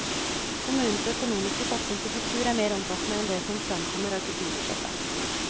Kommunens økonomiske satsing på kultur er mer omfattende enn det som framkommer av kulturbudsjettet.